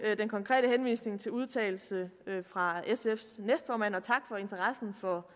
den konkrete udtalelse fra sfs næstformand og tak for interessen for